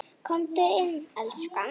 Komdu inn, elskan!